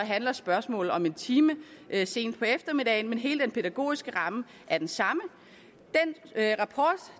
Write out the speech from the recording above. handler spørgsmålet om en time sent på eftermiddagen men hele den pædagogiske ramme er den samme